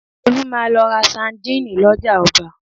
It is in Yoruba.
Olú máa lọ ra sandíìnì lọ́jà ọba